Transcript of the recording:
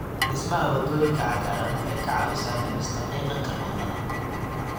Dhismaha waddooyinka cagaaran waxay ka caawisaa dhimista qiiqa kaarboon-da.